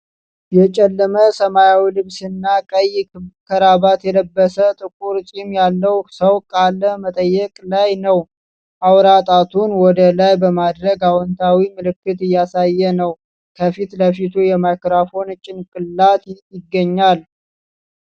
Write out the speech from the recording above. የጨለመ ሰማያዊ ልብስና ቀይ ክራባት የለበሰ፣ ጥቁር ጺም ያለው ሰው ቃለ መጠይቅ ላይ ነው። አውራ ጣቱን ወደ ላይ በማድረግ አዎንታዊ ምልክት እያሳየ ነው። ከፊት ለፊቱ የማይክሮፎን ጭንቅላት ይገኛል።